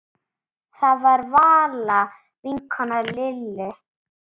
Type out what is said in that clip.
Það var Vala vinkona Lillu.